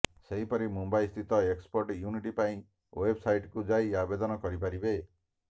ସେହିପରି ମୁମ୍ବାଇ ସ୍ଥିତ export unit ପାଇଁ େଓବସାଇଟକୁ ଯାଇ ଆବେଦନ କରିପାରିବେ